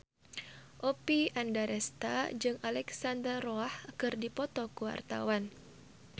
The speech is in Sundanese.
Oppie Andaresta jeung Alexandra Roach keur dipoto ku wartawan